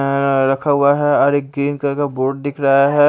अं रखा हुआ है और क्रीम कलर का बोर्ड दिख रहा है।